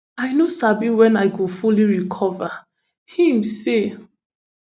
i no sabi wen i go fully recover im say